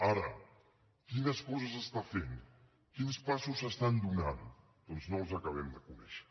ara quines coses està fent quins passos s’estan donant doncs no els acabem de conèixer